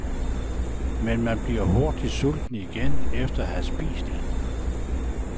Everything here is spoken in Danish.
Men man bliver hurtig sulten igen efter at have spist en.